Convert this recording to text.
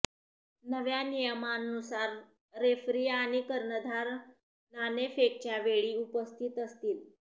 नव्या नियमांनुसार रेफरी आणि कर्णधार नाणेफेकच्या वेळी उपस्थित असतील